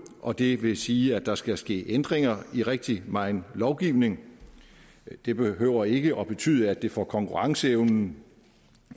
og det vil sige at der skal ske ændringer i rigtig megen lovgivning det behøver ikke at betyde at det for konkurrenceevnen